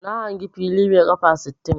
Na hangi fili mai 'kafa' sittin.